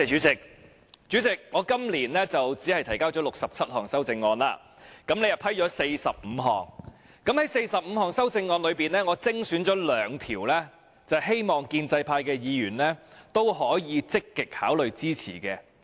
主席，我今年提交了67項修正案，你批准了45項，在這45項修正案中，我精選了兩項，希望建制派議員可以積極考慮支持。